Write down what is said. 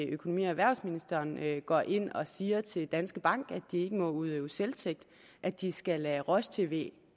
økonomi og erhvervsministeren går ind og siger til danske bank at de ikke må udøve selvtægt at de skal lade roj tv